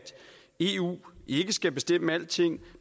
eu ikke skal bestemme alting